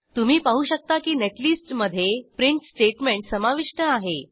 तुम्ही पाहू शकता की नेटलिस्टमध्ये प्रिंट स्टेट्मेंट समाविष्ट आहे